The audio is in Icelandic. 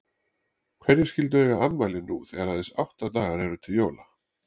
Hverjir skyldu eiga afmæli nú þegar aðeins átta dagar eru til jóla?